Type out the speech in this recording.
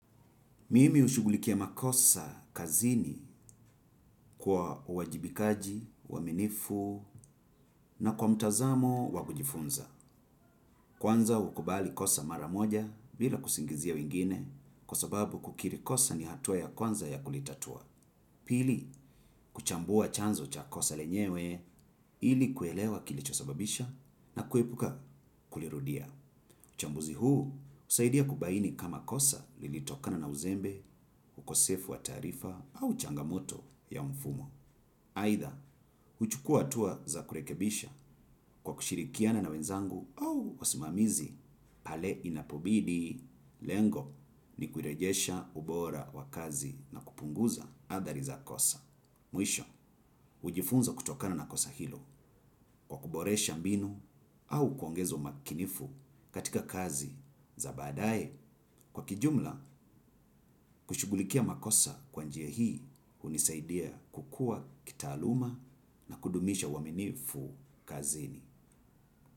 Mimi hushugulikia makosa kazini kwa uwajibikaji, uwaminifu na kwa mtazamo wa kujifunza. Kwanza hukubali kosa mara moja bila kusingizia wengine kwa sababu kukiri kosa ni hatua ya kwanza ya kulitatua. Pili, kuchambua chanzo cha kosa lenyewe ili kuelewa kilichosababisha na kuepuka kulirudia. Uchambuzi huu husaidia kubaini kama kosa lilitokana na uzembe, ukosefu wa taarifa au changamoto ya mfumo. Aidha, huchukua hatua za kurekebisha kwa kushirikiana na wenzangu au wasimamizi pale inapobidi lengo ni kurejesha ubora wa kazi na kupunguza athari za kosa. Mwisho, hujifunza kutokana na kosa hilo kwa kuboresha mbinu au kuongeza umakinifu katika kazi za baadaye, kwa kijumla kushughulikia makosa kwa njia hii hunisaidia kukua kitaaluma na kudumisha uaminifu kazini.